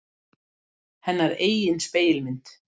Hennar eigin spegilmynd.